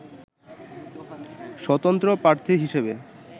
স্বতন্ত্র প্রার্থী হিসেবে